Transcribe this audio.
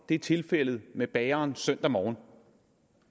i tilfældet med bageren søndag morgen og